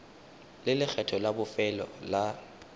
le lekgetho la bofelo la